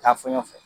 Taa fɔ ɲɛfɛ